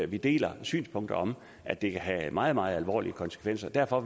vi deler synspunktet om at det kan have meget meget alvorlige konsekvenser derfor